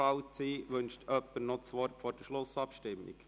Wünscht jemand das Wort vor der Schlussabstimmung?